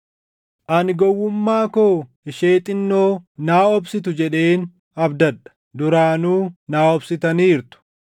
Ani gowwummaa koo ishee xinnoo naa obsitu jedheen abdadha; duraanuu naa obsitaniirtu.